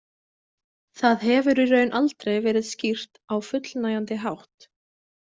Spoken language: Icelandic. Það hefur í raun aldrei verið skýrt á fullnægjandi hátt.